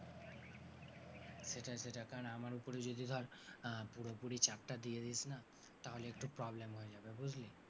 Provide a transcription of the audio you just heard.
সেটাই সেটাই কারণ আমার ওপরেই যদি ধর আহ পুরোপুরি চাপটা দিয়ে দিসনা তাহলে একটু problem হয়ে যাবে, বুঝলি?